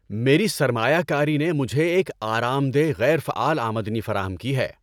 میری سرمایہ کاری نے مجھے ایک آرام دہ غیر فعال آمدنی فراہم کی ہے۔